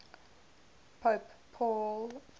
pope paul